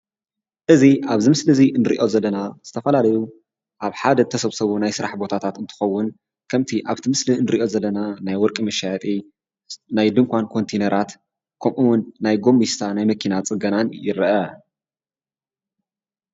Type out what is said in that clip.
እዚ ኣብዚ ምስሊ እዚ እንሪኦ ዘለና ዝተፈላለዩ ኣብ ሓደ እተሰብሰቡ ናይ ስራሕ ቦታታት እንትኸዉን ከምቲ ኣበቲ ምስሊ እንሪኦ ዘለና ናይ ወርቂ መሸያጢ፣ ናይ ድንኳን ኮንቲነራት ከምኡ እዉን ናይ ጎሚስታ ናይ መኪና ፅገናን ይርአ።